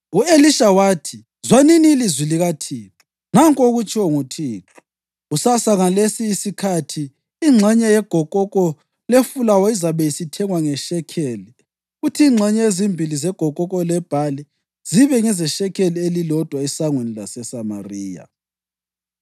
U-Elisha wathi, “Zwanini ilizwi likaThixo. Nanku okutshiwo nguThixo: Kusasa ngasolesi isikhathi, ingxenye yegokoko lefulawa izabe isithengiswa ngeshekeli kuthi ingxenye ezimbili zegokoko lebhali zibe ngezeshekeli elilodwa esangweni laseSamariya.”